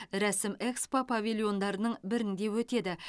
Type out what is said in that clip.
рәсім экспо павильондарының бірінде өтеді